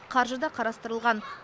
қаржы да қарастырылған